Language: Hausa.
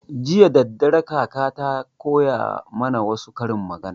Jiya daddare kaka ta koya mana wassu karin magana